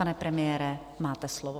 Pane premiére, máte slovo.